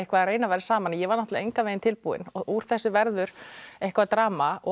að reyna að vera saman ég var engan veginn tilbúin úr þessu verður eitthvert drama og